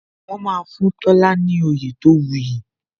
Wọn máa fún Tola ní oyè tó wu yi